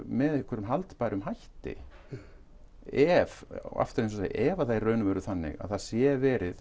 með einhverjum haldbærum hætti ef og aftur ef það er í raun og veru þannig að það sé verið